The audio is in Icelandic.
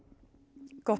gott